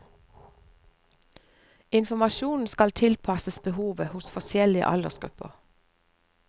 Informasjonen skal tilpasses behovet hos forskjellige aldersgrupper.